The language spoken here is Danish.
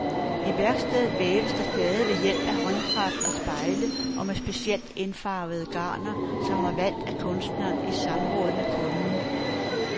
I værkstedet væves der stadig ved hjælp af håndkraft og spejle og med specielt indfarvede garner, som er valgt af kunstneren i samråd med kunden.